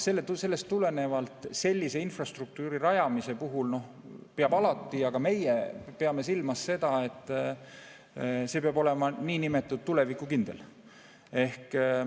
Sellest tulenevalt peab sellise infrastruktuuri rajamise puhul alati silmas pidama ja ka meie peame silmas, et see peab olema niinimetatud tulevikukindel.